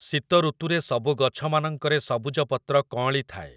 ଶୀତ ଋତୁରେ ସବୁ ଗଛମାନଙ୍କରେ ସବୁଜ ପତ୍ର କଅଁଳି ଥାଏ ।